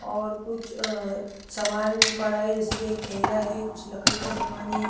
और कुछ अ समान पड़ा है जैसे कि एक थैला है कुछ लकड़ी का समान है।